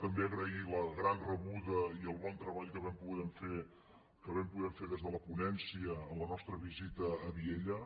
també agrair la gran rebuda i el bon treball que vam poder fer des de la ponència en la nostra visita a vielha